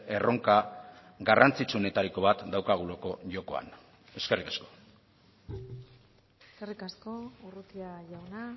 erronka garrantzitsuenetariko bat daukagulako jokoan eskerrik asko eskerrik asko urrutia jauna